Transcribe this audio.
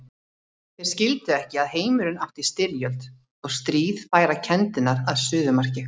Þeir skildu ekki að heimurinn átti í styrjöld og stríð færa kenndirnar að suðumarki.